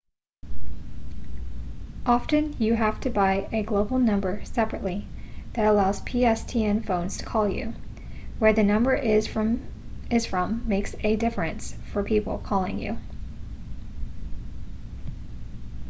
often you have to buy a global number separately that allows pstn phones to call you where the number is from makes a difference for people calling you